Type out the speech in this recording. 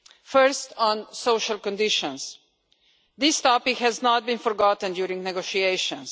First, on social conditions, this topic has not been forgotten during negotiations.